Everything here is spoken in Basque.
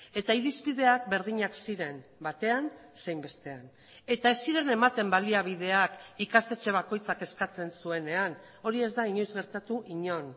eta irizpideak berdinak ziren batean zein bestean eta ez ziren ematen baliabideak ikastetxe bakoitzak eskatzen zuenean hori ez da inoiz gertatu inon